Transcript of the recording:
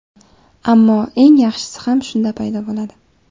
Ammo eng yaxshisi ham shunda paydo bo‘ladi.